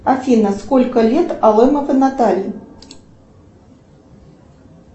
афина сколько лет алымовой наталье